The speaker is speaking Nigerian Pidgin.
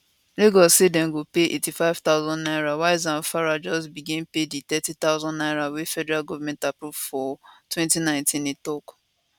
lagos say dem go pay 85000 naira while zamfara just begin pay di 30000 naira wey federal goment approve for 2019 e tok